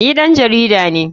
Ni ɗan jarida ne.